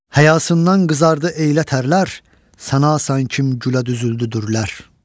Həyasından qızardı eylə tərlər, sanasan kim gülə düzüldüdürlər.